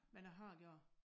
Men jeg har gjort